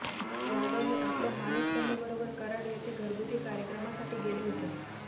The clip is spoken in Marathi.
यादव हे आपल्या मानस कन्येबरोबर कराड येथे घरगुती कार्यक्रमासाठी गेले होते